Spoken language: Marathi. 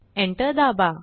एंटर दाबा